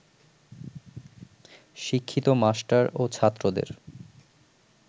শিক্ষিত মাস্টার ও ছাত্রদের